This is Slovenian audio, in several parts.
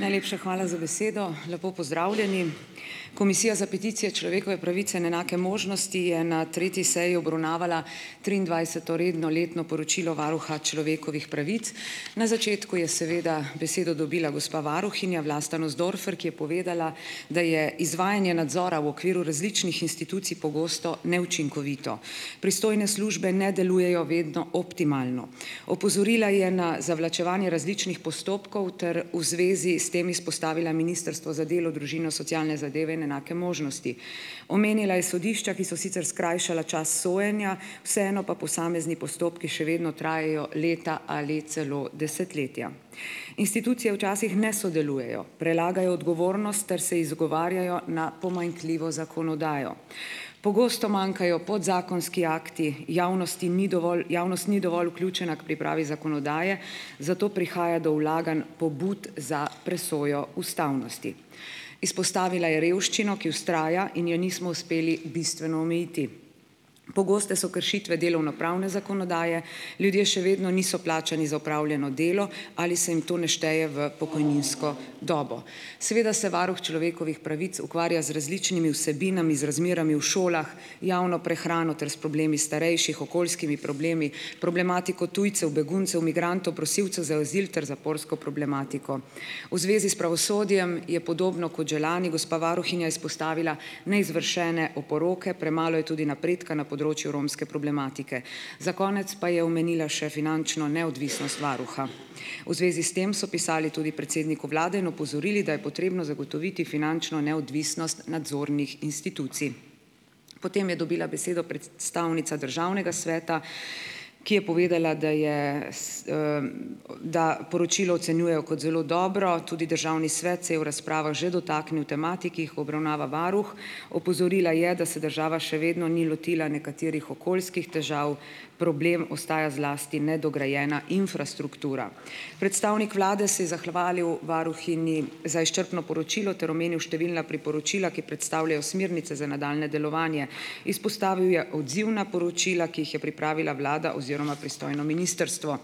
Najlepša hvala za besedo. Lepo pozdravljeni! Komisija za peticije, človekove pravice in enake možnosti je na tretji seji obravnavala triindvajseto redno letno poročilo varuha človekovih pravic. Na začetku je seveda besedo dobila gospa varuhinja, Vlasta Nussdorfer, ki je povedala, da je izvajanje nadzora v okviru različnih institucij pogosto neučinkovito. Pristojne službe ne delujejo vedno optimalno. Opozorila je na zavlačevanje različnih postopkov ter v zvezi s tem izpostavila ministrstvo za delo, družino, socialne zadeve in enake možnosti. Omenila je sodišča, ki so sicer skrajšala čas sojenja, vseeno pa posamezni postopki še vedno trajajo leta ali celo desetletja. Institucije včasih ne sodelujejo, prelagajo odgovornost ter se izgovarjajo na pomanjkljivo zakonodajo. Pogosto manjkajo podzakonski akti, javnosti ni dovolj, javnost ni dovolj vključena k pripravi zakonodaje, zato prihaja do vlaganj pobud za presojo ustavnosti. Izpostavila je revščino, ki vztraja in je nismo uspeli bistveno omejiti. Pogoste so kršitve delovnopravne zakonodaje, ljudje še vedno niso plačani za opravljeno delo ali se jim to ne šteje v pokojninsko dobo. Seveda se varuh človekovih pravic ukvarja z različnimi vsebinami, z razmerami v šolah, javno prehrano ter s problemi starejših, okoljskimi problemi, problematiko tujcev, beguncev, migrantov, prosilcev za azil ter zaporsko problematiko. V zvezi s pravosodjem je podobno kot že lani gospa varuhinja izpostavila neizvršene oporoke, premalo je tudi napredka na področju romske problematike. Za konec pa je omenila še finančno neodvisnost varuha. V zvezi s tem so pisali tudi predsedniku vlade in opozorili, da je potrebno zagotoviti finančno neodvisnost nadzornih institucij. Potem je dobila besedo predstavnica državnega sveta, ki je povedala, da je, da poročilo ocenjujejo kot zelo dobro, tudi državni svet se je v razpravah že dotaknil tematik, ki jih obravnava varuh, opozorila je, da se država še vedno ni lotila nekaterih okoljskih težav, problem ostaja zlasti nedograjena infrastruktura. Predstavnik vlade se je zahvalil varuhinji za izčrpno poročilo ter omenil številna priporočila, ki predstavljajo smernice za nadaljnje delovanje. Izpostavil je odzivna poročila, ki jih je pripravila vlada oziroma pristojno ministrstvo.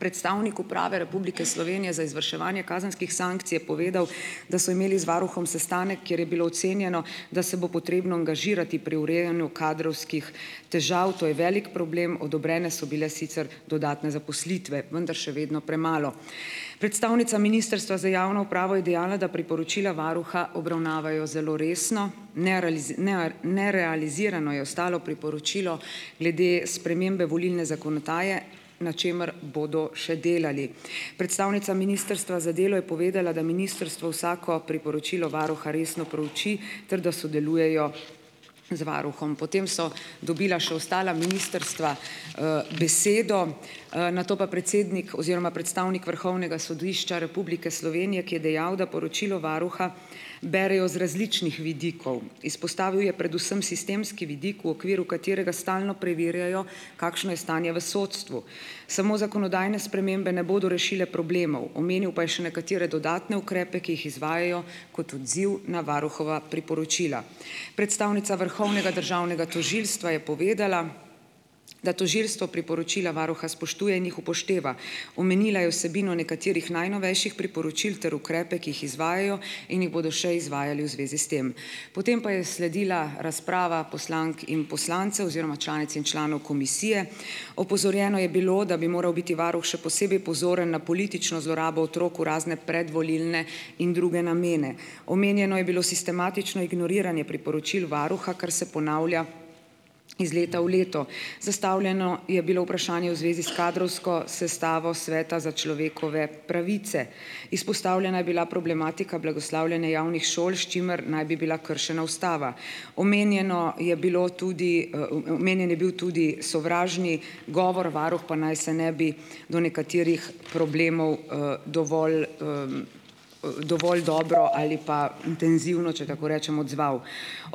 Predstavnik Uprave Republike Slovenije za izvrševanje kazenskih sankcij je povedal, da so imeli z varuhom sestanek, kjer je bilo ocenjeno, da se bo potrebno angažirati pri urejanju kadrovskih težav. To je velik problem, odobrene so bile sicer dodatne zaposlitve, vendar še vedno premalo. Predstavnica Ministrstva za javno upravo je dejala, da priporočila varuha obravnavajo zelo resno. ne, nerealizirano je ostalo priporočilo glede spremembe volilne zakonodaje, na čemer bodo še delali. Predstavnica Ministrstva za delo je povedala, da ministrstvo vsako priporočilo varuha resno prouči ter da sodelujejo z varuhom. Potem so dobila še ostala ministrstva, besedo. Nato pa predsednik oziroma predstavnik Vrhovnega sodišča Republike Slovenije, ki je dejal, da poročilo varuha berejo z različnih vidikov. Izpostavil je predvsem sistemski vidik, v okviru katerega stalno preverjajo, kakšno je stanje v sodstvu. Samo zakonodajne spremembe ne bodo rešile problemov. Omenil pa je še nekatere dodatne ukrepe, ki jih izvajajo kot odziv na varuhova priporočila. Predstavnica Vrhovnega državnega tožilstva je povedala, da tožilstvo priporočila varuha spoštuje in jih upošteva. Omenila je vsebino nekaterih najnovejših priporočil ter ukrepe, ki jih izvajajo in jih bodo še izvajali v zvezi s tem. Potem pa je sledila razprava poslank in poslancev oziroma članic in članov komisije. Opozorjeno je bilo, da bi moral biti varuh še posebej pozoren na politično zlorabo otrok v razne predvolilne in druge namene. Omenjeno je bilo sistematično ignoriranje priporočil varuha, kar se ponavlja iz leta v leto. Zastavljeno je bilo vprašanje v zvezi s kadrovsko sestavo sveta za človekove pravice. Izpostavljena je bila problematika blagoslavljanja javnih šol, s čimer naj bi bila kršena ustava. Omenjeno je bilo tudi, omenjen je bil tudi sovražni govor, varuh pa naj se ne bi do nekaterih problemov, dovolj, dovolj dobro ali pa intenzivno, če tako rečem, odzval.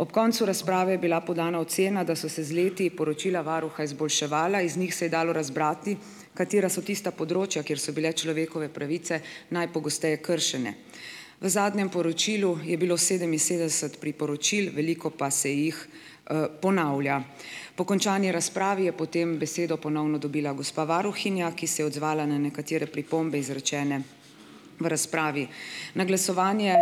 Ob koncu razprave je bila podana ocena, da so se z leti poročila varuha izboljševala. Iz njih se je dalo razbrati katera so tista področja, kjer so bile človekove pravice najpogosteje kršene. V zadnjem poročilu je bilo sedeminsedemdeset priporočil, veliko pa se jih, ponavlja. Po končani razpravi je potem besedo ponovno dobila gospa varuhinja, ki se je odzvala na nekatere pripombe, izrečene v razpravi. Na glasovanje,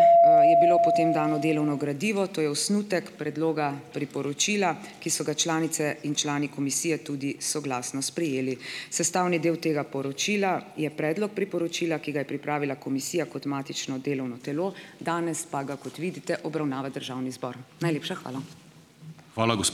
je bilo potem dano delovno gradivo, to je osnutek predloga priporočila, ki so ga članice in člani komisije tudi soglasno sprejeli. Sestavni del tega poročila je predlog priporočila, ki ga je pripravila komisija kot matično delovno telo. Danes pa ga, kot vidite, obravnava državni zbor. Najlepša hvala.